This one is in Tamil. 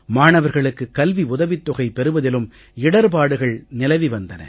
மாணவர்களுக்கு கல்வி உதவித் தொகை பெறுவதிலும் இடர்ப்பாடுகள் நிலவி வந்தன